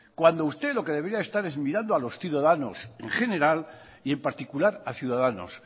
cuando usted lo que debería estar es mirando a los ciudadanos en general y en particular a ciudadanos